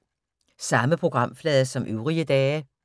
Samme programflade som øvrige dage